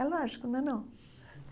É lógico, não é não.